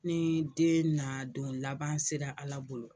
Ni den na don laban sera Ala bolo,